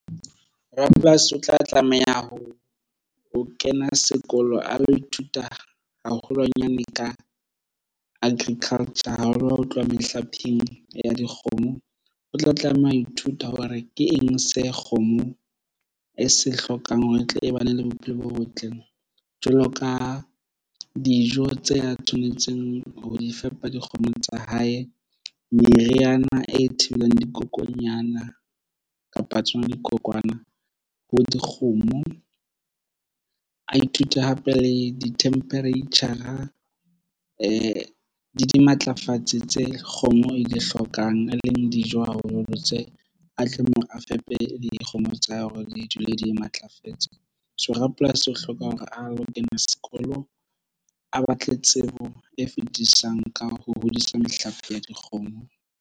Rapolasi o tla tlameha ho kena sekolo a lo ithuta haholwanyane ka agriculture haholo ho tloha mehlapeng ya dikgomo o tla tlameha ho ithuta hore ke eng se kgomo e se hlokang hore e tle e ba ne le bophelo bo botle. Jwalo ka dijo tse a tshwanetseng ho di fepa dikgomo tsa hae meriana e thibelang dikokonyana kapa tsona dikokwana ho dikgomo a ithute hape le di-temperature a e dimatlafatsi tse kgomo e di hlokang a leng dijo haholoholo tse a tlameha hore a fepe le dikgomo tsa hao hore di dule di matlafetse. So, rapolasi o hloka hore a lo kena sekolo a batle tsebo e fetisisang ka ho hodisa mehlape ya dikgomo.